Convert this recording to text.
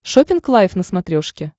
шоппинг лайф на смотрешке